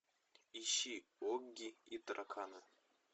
ищи огги и тараканы